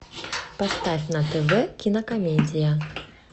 поставь на тв кинокомедия